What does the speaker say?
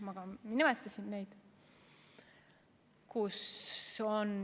Ma ka nimetasin neid.